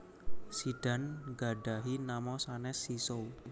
Zidane nggadhahi nama sanès Zizou